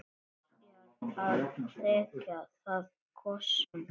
Byrjar að þekja það kossum.